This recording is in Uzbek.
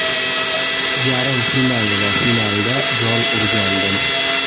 Yarim final va finalda gol urgandim.